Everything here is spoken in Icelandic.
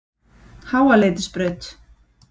Háaleitisbraut